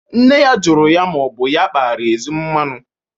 Nne ya jụrụ ya ma ọ bụ ya kpara ezi mmanụ.